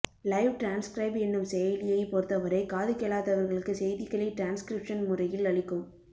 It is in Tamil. லைவ் டிரான்ஸ்கிரைப் என்னும் செயலியை பொருத்தவரை காதுகேளாதவர்களுக்கு செய்திகளை டிரான்ஸ்கிரிப்ஷன் முறையில் அளிக்கும்